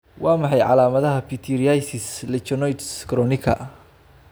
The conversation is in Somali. Waa maxay calaamadaha pityriasis lichenoides chronica?